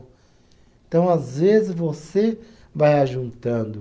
Então, às vezes, você vai ajuntando.